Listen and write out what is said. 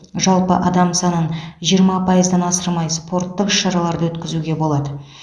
жалпы адам санын жиырма пайыздан асырмай спорттық іс шараларды өткізуге болады